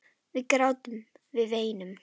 Við grátum, við veinum.